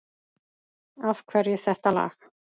Af hverju þetta lag?